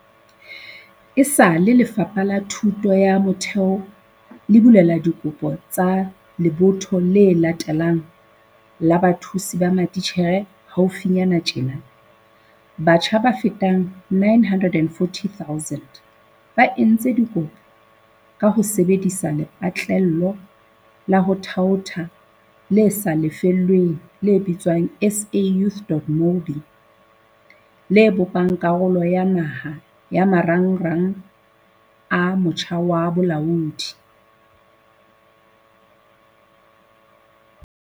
Esale Lefapha la Thuto ya Motheo le bulela dikopo tsa lebotho le latelang la bathusi ba matitjhere haufinyana tjena, batjha ba fetang 940 000 ba entse dikopo ka ho sebe disa lepatlelo la ho thaotha le sa lefellweng le bitswang SA Youth.mobi, le bopang karolo ya naha ya Marangrang a Motjha wa Bolaodi.